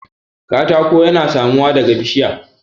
katako yana samuwa daga bishiya